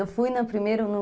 Eu fui na, primeiro no...